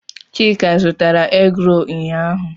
Chika zụtara egroolu ụnyaahụ.